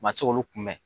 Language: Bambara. Ma se k'olu kunbɛ